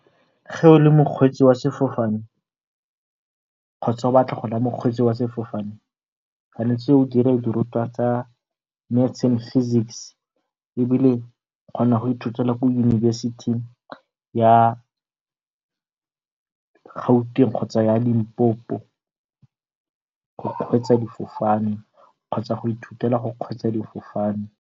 Ge o le mokgwetsi wa sefofane kgotsa o batla go nna mokgweetsi wa sefofane o tshwanetse o dire dirutwa tsa Maths and Physics, ebile o kgona go ithutela ko yunibesiting ya Gauteng kgotsa ya Limpopo go kgweetsa difofane kgotsa go ithutela go kgweetsa difofane.